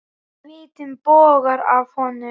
Svitinn bogar af honum.